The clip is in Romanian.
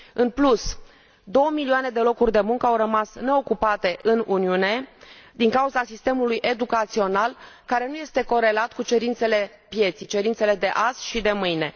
În plus, 2 milioane de locuri de muncă au rămas neocupate în Uniune din cauza sistemului educațional, care nu este corelat cu cerințele pieței, cerințele de azi și de mâine.